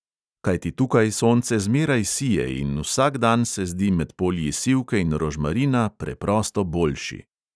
Kajti tukaj sonce zmeraj sije in vsak dan se zdi med polji sivke in rožmarina preprosto boljši.